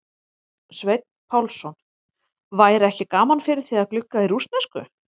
Sveinn Pálsson: væri ekki gaman fyrir þig að glugga í rússnesku?